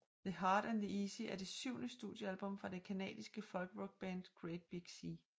The Hard and The Easy er det syvende studiealbum fra det canadiske folkrockband Great Big Sea